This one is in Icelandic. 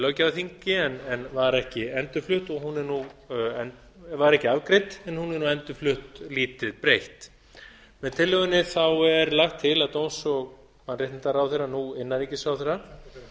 löggjafarþingi en var ekki afgreidd en hún er nú endurflutt lítið breytt með tillögunni er lagt til að dómsmála og mannréttindaráðherra nú innanríkisráðherra